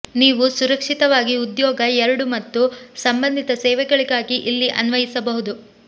ನೀವು ಸುರಕ್ಷಿತವಾಗಿ ಉದ್ಯೋಗ ಎರಡೂ ಮತ್ತು ಸಂಬಂಧಿತ ಸೇವೆಗಳಿಗಾಗಿ ಇಲ್ಲಿ ಅನ್ವಯಿಸಬಹುದು